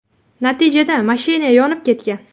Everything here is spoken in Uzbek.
Natijada mashina yonib ketgan.